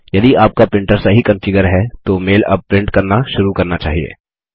यदि आपका प्रिंटर सही कंफिगर है तो मेल अब प्रिंट करना शुरू करना चाहिए